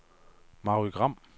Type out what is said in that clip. Mary Gram